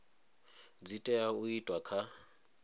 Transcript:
dzi tea u itwa kha